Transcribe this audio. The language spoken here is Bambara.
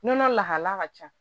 Nɔnɔ lahala ka ca